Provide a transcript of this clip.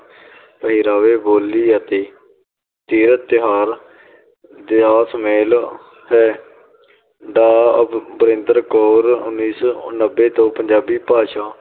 ਪਹਿਰਾਵੇ, ਬੋਲੀ ਅਤੇ ਤਿਉਹਾਰ ਦਾ ਸੁਮੇਲ ਹੈ, ਕੌਰ ਉੱਨੀ ਸੌ ਨੱਬੇ ਤੋਂ ਪੰਜਾਬੀ ਭਾਸ਼ਾ,